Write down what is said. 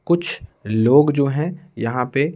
कुछ लोग जो हैं यहाँ पे।